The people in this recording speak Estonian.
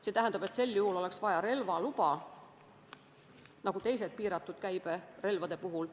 See tähendab, et selliste relvade jaoks oleks vaja relvaluba nagu teiste piiratud käibega relvade puhul.